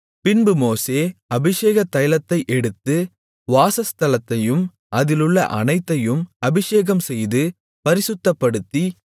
பின்பு மோசே அபிஷேகத் தைலத்தை எடுத்து வாசஸ்தலத்தையும் அதிலுள்ள அனைத்தையும் அபிஷேகம்செய்து பரிசுத்தப்படுத்தி